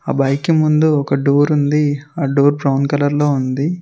ఆ బైక్ కి ముందు ఒక డోర్ ఉంది ఆ డోర్ బ్రౌన్ కలర్ లో ఉంది.